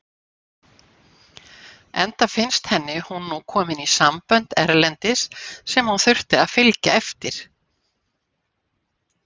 Enda finnst henni hún nú komin í sambönd erlendis sem hún þurfi að fylgja eftir.